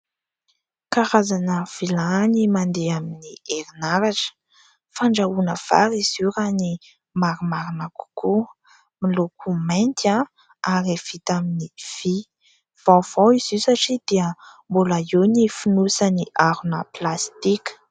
Karazana vilany mandeha amin'ny herinaratra. Fandrahoana vary izy io raha ny marimarina kokoa, miloko mainty ary vita amin'ny vy. Vaovao izy io satria dia mbola eo ny fonosany harona plastika.